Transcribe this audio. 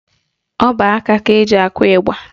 Ọbọaka ka eji akụ ịgba